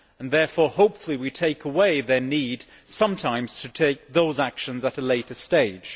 Therefore, hopefully, we take away their need sometimes to take those actions at a later stage.